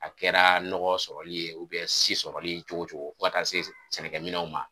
A kɛra nɔgɔ sɔrɔli ye si sɔrɔli ye cogo cogo fo ka taa se s sɛnɛminɛnw ma